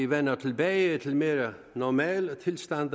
vender tilbage til mere normale tilstande